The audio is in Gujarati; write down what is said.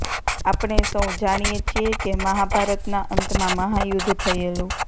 આપણે સૌ જાણીએ છીએ કે મહાભારતના અંતમાં મહાયુદ્ધ થયેલું